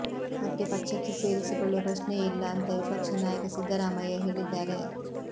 ಮತ್ತೆ ಪಕ್ಷಕ್ಕೆ ಸೇರಿಸಿಕೊಳ್ಳುವ ಪ್ರಶ್ನೆಯೇ ಇಲ್ಲ ಅಂತಾ ವಿಪಕ್ಷನಾಯಕ ಸಿದ್ದರಾಮಯ್ಯ ಹೇಳಿದ್ದಾರೆ